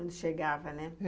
Onde chegavam, né?